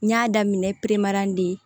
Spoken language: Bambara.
N y'a daminɛ de